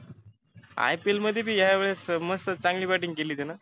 IPL मधी बी या वेळेस स मस्त batting केली त्यानं.